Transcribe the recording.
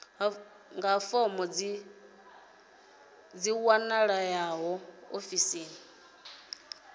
fomo dzi a wanalea ofisini